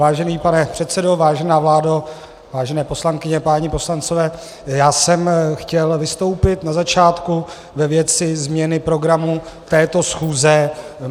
Vážený pane předsedo, vážená vládo, vážené poslankyně, páni poslanci, já jsem chtěl vystoupit na začátku ve věci změny programu této schůze.